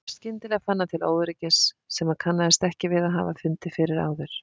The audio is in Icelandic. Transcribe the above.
Skyndilega fann hann til óöryggis sem hann kannaðist ekki við að hafa fundið fyrir áður.